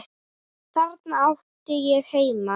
Þarna átti ég heima.